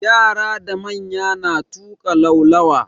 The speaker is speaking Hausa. Yara da manya na tuƙa laulawa.